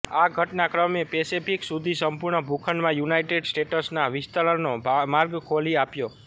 આ ઘટનાક્રમે પેસિફીક સુધી સંપૂર્ણ ભૂખંડમાં યુનાઇટેડ સ્ટેટ્સના વિસ્તરણનો માર્ગ ખોલી આપ્યો